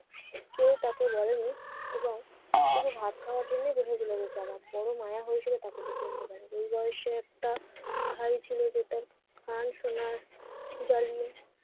কেউ তাকে বলেনি এবং শুধু ভাত খাওয়ার জন্যই বেঁচে গেল বেচারা। বড় মায়া হয়েছিল তাকে দেখে ইন্দুবালার। এই বয়সের একটা ভাই ছিল যেটা গান শোনার জন্য